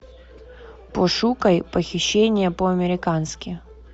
пошукай похищение по американски